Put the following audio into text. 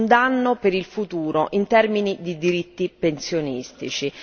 un danno per il futuro, in termini di diritti pensionistici.